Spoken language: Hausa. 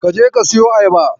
Ka je ka siyo ayaba.